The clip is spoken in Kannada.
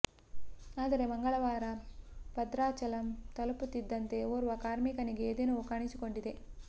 ಆದರೆ ಮಂಗಳವಾರ ಭದ್ರಾಚಲಂ ತಲುಪುತ್ತಿದ್ದಂತೆ ಓರ್ವ ಕಾರ್ಮಿಕನಿಗೆ ಎದೆ ನೋವು ಕಾಣಿಸಿಕೊಂಡಿದೆ